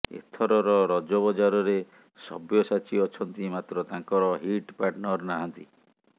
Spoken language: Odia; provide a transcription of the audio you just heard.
ଏଥରର ରଜ ବଜାରରେ ସବ୍ୟସାଚୀ ଅଛନ୍ତି ମାତ୍ର ତାଙ୍କର ହିଟ୍ ପାର୍ଟନର୍ ନାହାନ୍ତି